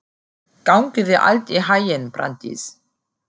Gangi þér allt í haginn, Branddís.